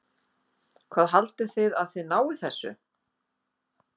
Hvað haldið þið að þið náið þessu?